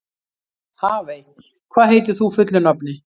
Hafey, hvað heitir þú fullu nafni?